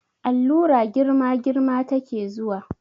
Allura girma girma ta ke zuwa